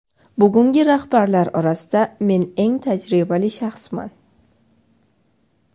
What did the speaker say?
Bugungi rahbarlar orasida men eng tajribali shaxsman.